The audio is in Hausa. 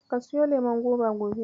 Ka suyo lemon goba gobe.